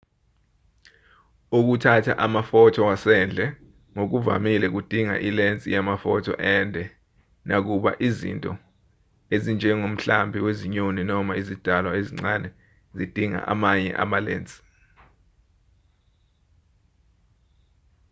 ukuthatha amafotho wasendle ngokuvamile kudinga ilensi yamafotho ende nakuba izinto ezinjengomhlambi wezinyoni noma izidalwa ezincane zidinga amanye amalensi